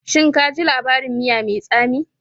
Shin ka ji labarin miya mai tsami?